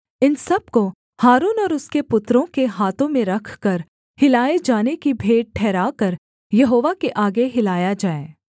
इन सब को हारून और उसके पुत्रों के हाथों में रखकर हिलाए जाने की भेंट ठहराकर यहोवा के आगे हिलाया जाए